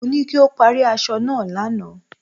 Mo ní kí o parí aṣọ náà lánàá.